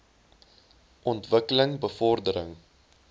ontwik keling bevordering